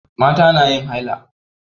Mata na yin haila.